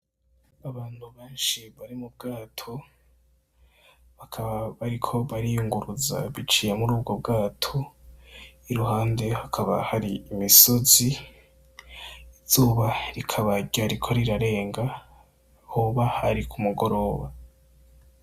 Abantu benshi bari mu bwato bakaba bariko bariyunguruza biciye mur' ubwo bwato iruhande hari imisozi, izuba rikaba ryariko rirarenga hoba ari ku mugoroba